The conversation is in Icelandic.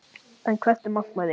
En hvert er markmiðið í ár?